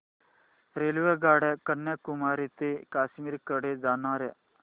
रेल्वेगाड्या कन्याकुमारी ते काश्मीर कडे जाणाऱ्या